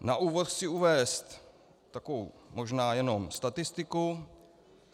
Na úvod chci uvést takovou možná jenom statistiku.